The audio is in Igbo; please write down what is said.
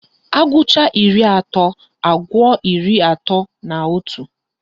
Agụcha iri atọ, agụọ iri atọ na otu